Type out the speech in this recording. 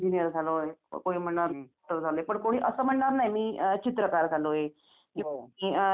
अच्छा तुमच्याकडे तुम्ही म्हणजे तिकडेच राहता का यात्रेकडे?